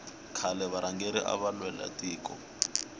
khale varhangeri ava lwela tiko